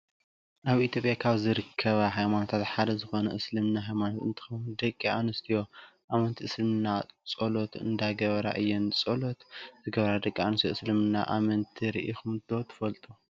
ኣብ ኢትዮጵያ ካብ ዝርከባ ሃይማኖታት ሓደ ዝኮነ እስልምና ሃይማኖት እንትከውን፣ ደቂ ኣንስትዮ ኣመንቲ እስልምና ፆሎት እንዳገበራ እየን። ፆሎት ዝገብራ ደቂ ኣንስትዮ እስልምና ኣመንቲ ሪኢኩም ዶ ትፈልጡ?